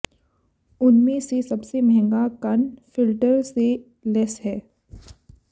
उनमें से सबसे महंगा कण फिल्टर से लैस हैं